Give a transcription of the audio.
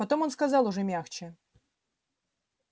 потом он сказал уже мягче